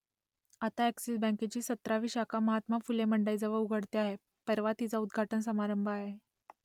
आता अ‍ॅक्सिस बँकेची सतरावी शाखा महात्मा फुले मंडईजवळ उघडते आहे परवा तिचा उद्घाटन समारंभ आहे